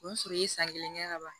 O b'a sɔrɔ i ye san kelen kɛ ka ban